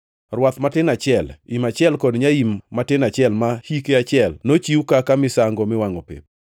rwath matin achiel, im achiel kod nyaim matin achiel ma hike achiel, nochiw kaka misango miwangʼo pep;